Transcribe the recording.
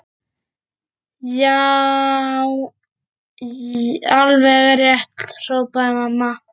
Já, alveg rétt hrópaði mamma.